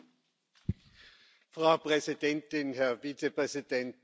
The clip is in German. Frau Präsidentin, Herr Vizepräsident, meine Damen und Herren!